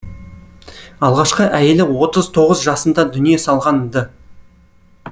алғашқы әйелі отыз тоғыз жасында дүние салған ды